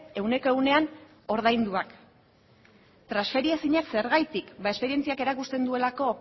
ehuneko ehunean ordainduak transferiezinak zergatik esperientziak erakusten duelako